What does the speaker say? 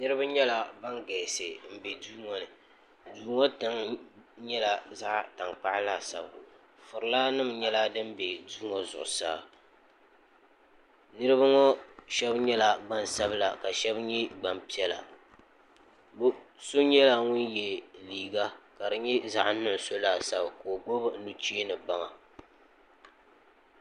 niraba nyɛla ban galisi n bɛ duu ŋo ni duu ŋo tiŋli nyɛla zaɣ tankpaɣu laasabu furila nim nyɛla din bɛ duu ŋo zuɣusaa niraba ŋo shab nyɛla gbansabila ka shab nyɛ gbanpiɛla bi so nyɛla ŋun yɛ liiga ka di nyɛ zaɣ nuɣso laasabu ka o gbubi nuchee ni baŋa